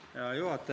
Hea juhataja!